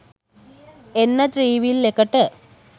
එන්න ත්‍රිවිල් එකට